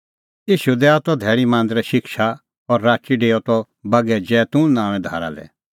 ईशू दैआ त धैल़ी मांदरै शिक्षा और राची डेओआ त बागै जैतून नांओंए धारा लै